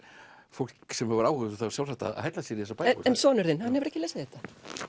fólk sem hefur áhuga sjálfsagt að hella sér í þessar bækur en sonur þinn hann hefur ekki lesið þetta